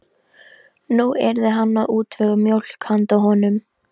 Nú yrði hann að útvega mjólk handa honum.